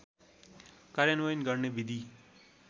कार्यान्वयन गर्ने विधि